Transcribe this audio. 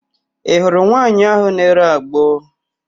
Ị hụrụ nwaanyị áhụ̀ na-ere agbo?